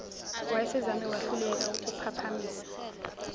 wayesezame wahluleka ukuphaphamisa